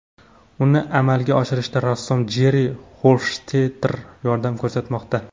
Uni amalga oshirishda rassom Jerri Xofshtetter yordam ko‘rsatmoqda.